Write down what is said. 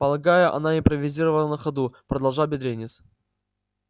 полагаю она импровизировала на ходу продолжал бедренец